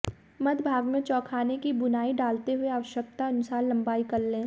मध्य भाग में चौखाने की बुनाई डालते हुए आवश्यकतानुसार लम्बाई कर लें